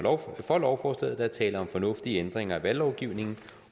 for lovforslaget der er tale om fornuftige ændringer af valglovgivningen